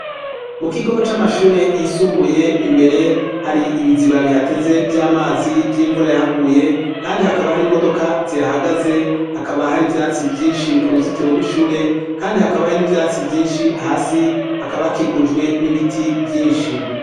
Mu kigo c'amashure yisumbuye imbere hari ibiziba bihateze vy'amazi vy'imvura yahaguye, kandi hakaba hari imodoka zihahagaze, hakaba hari ivyatsi vyinshi ku ruzitiro rw'ishure; kandi hakaba hari n'ivyatsi vyinshi. Hasi hakaba hakikujwe n'ibiti vyinshi.